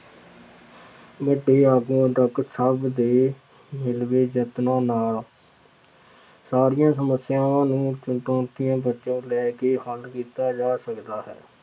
ਵੱਡੇ ਆਗੂਆਂ ਤੱਕ ਸਭ ਦੇ ਮਿਲਵੇ ਯਤਨਾਂ ਨਾਲ ਸਾਰੀਆਂ ਸਮੱਸਿਆਵਾਂ ਨੂੰ ਲੈ ਕੇ ਹੱਲ ਕੀਤਾ ਜਾਂ ਸਕਦਾ ਹੈ।